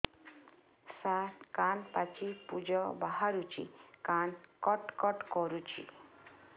ସାର କାନ ପାଚି ପୂଜ ବାହାରୁଛି କାନ କଟ କଟ କରୁଛି